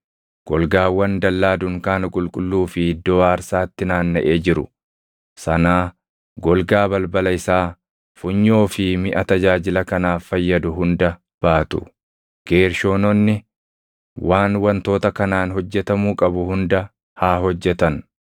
golgaawwan dallaa dunkaana qulqulluu fi iddoo aarsaatti naannaʼee jiru sanaa, golgaa balbala isaa, funyoo fi miʼa tajaajila kanaaf fayyadu hunda baatu. Geershoononni waan wantoota kanaan hojjetamuu qabu hunda haa hojjetan.